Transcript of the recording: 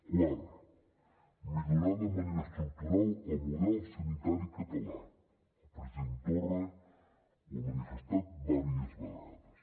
quart millorar de manera estructural el model sanitari català el president torra ho ha manifestat diverses vegades